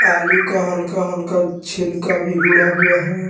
आलू का हल्का हल्का छिलका भी ऊड़ा हुआ है।